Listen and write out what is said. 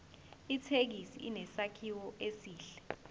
ithekisi inesakhiwo esihle